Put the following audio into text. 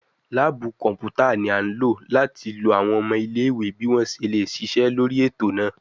Laabu kọnputa ni a lo lati lo awọn ọmọ ile-iwe bi wọn ṣe le ṣiṣẹ lori eto naa